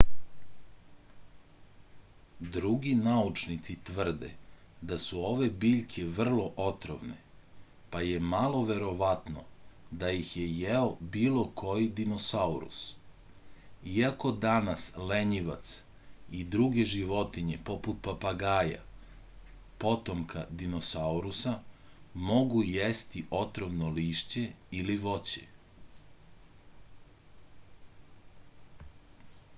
други научници тврде да су ове биљке врло отровне па је мало вероватно да их је јео било који диносаурус иако данас лењивац и друге животиње попут папагаја потомка диносауруса могу јести отровно лишће или воће